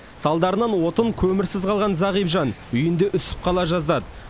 салдарынан отын көмірсіз қалған зағип жан үйінде үсіп қала жаздады